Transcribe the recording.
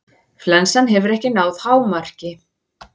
Flensan hefur ekki náð hámarki.